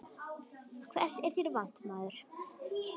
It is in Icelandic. Hvers er þér vant, maður?